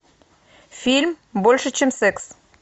фильм больше чем секс